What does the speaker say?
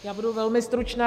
Já budu velmi stručná.